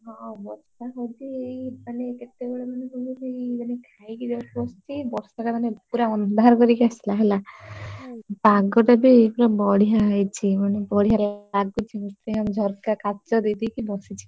ହଁ ବର୍ଷା ହଉଛି ଏଇ ମାନେ କେତେ ବେଳେ ମାନେ କହିଲୁ ଏଇ ମାନେ ଖାଇକି just ବସିଛି ବର୍ଷା ଟା ମାନେ ପୁରା ଅନ୍ଧାର କରିକି ଆସିଲା ହେଲା ପାଗ ଟା ବି ପୁରା ବଡିଆ ହେଇଛି ମାନେ ବଡିଆ ଲାଗୁଛି ମତେ ମୁଁ ଆମ ଝରକା କାଚ ଦେଇ ଦେଇକି ବସଛି।